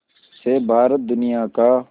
से भारत दुनिया का